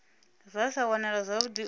zwa sa wanalee zwavhudi u